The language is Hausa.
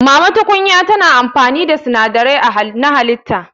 Mama tukunya tana amfani da sinadarai na halitta.